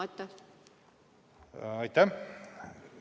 Aitäh!